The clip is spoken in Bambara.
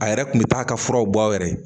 A yɛrɛ kun bɛ taa ka furaw bɔ a yɛrɛ ye